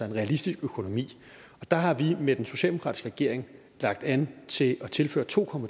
en realistisk økonomi og der har vi med den socialdemokratiske regering lagt an til at tilføre to